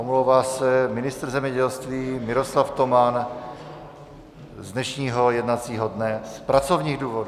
Omlouvá se ministr zemědělství Miroslav Toman z dnešního jednacího dne z pracovních důvodů.